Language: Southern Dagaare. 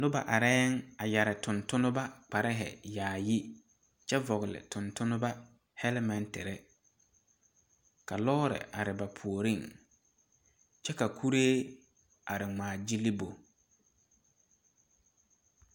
Noba areŋ a yɛre tontonba kpar yaayi kyɛ vɔgeli tontonba helmentiri, ka lɔɔre are ba puoriŋ kyɛ ka kuree a ŋmaa gyili ba.